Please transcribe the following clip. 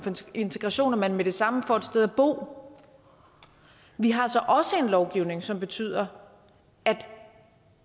integration at man med det samme får et sted at bo vi har så også en lovgivning som betyder at